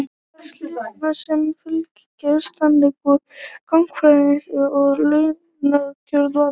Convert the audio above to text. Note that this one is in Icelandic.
þar slitnar samfylgd þingmanna og gagnfræðaskólakennara hvað launakjör varðar